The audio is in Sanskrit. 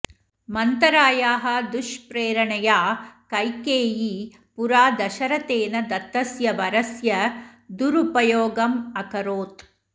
मन्थरायाः दुष्प्रेरणया कैकेयी पुरा दशरथेन दत्तस्य वरस्य दुरुपयोगमकरोत्